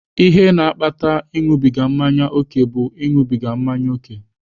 Ihe na-akpata ịṅụbiga mmanya ókè bụ ịṅụbiga mmanya ókè.